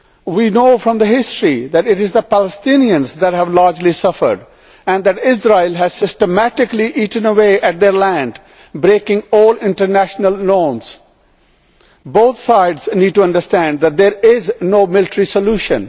We know from the history that it is largely the Palestinians who have suffered and that Israel has systematically eaten away at their land, breaking all international laws. Both sides need to understand that there is no military solution.